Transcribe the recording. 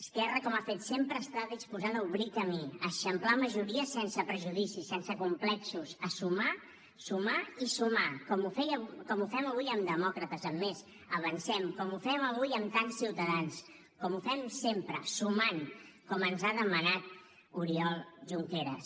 esquerra com ha fet sempre està disposada a obrir camí a eixamplar majories sense prejudicis sense complexos a sumar sumar i sumar com ho fem amb demòcrates amb més avancem com ho fem avui amb tants ciutadans com ho fem sempre sumant com ens ha demanat oriol junqueras